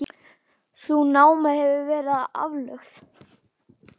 Sú náma hefur verið aflögð.